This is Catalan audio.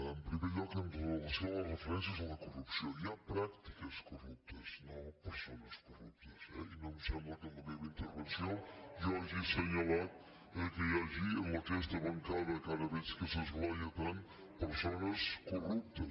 en primer lloc amb relació a les refe·rències a la corrupció hi ha pràctiques corruptes no persones corruptes eh i no em sem·bla que en la meva intervenció jo hagi assenyalat que hi hagi en aquesta bancada que ara veig que s’esglaia tant persones corruptes